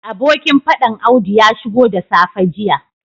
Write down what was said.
Abokin fadan audu ya shigo da safe jiya